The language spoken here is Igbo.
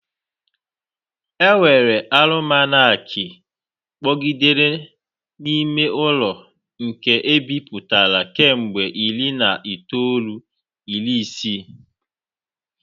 Enwere alụmanakịị kpọgidere n'ime ụlọ nke ebipụtara kemgbe iri na itoolu iri isii.